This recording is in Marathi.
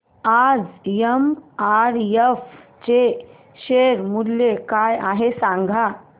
आज एमआरएफ चे शेअर मूल्य काय आहे सांगा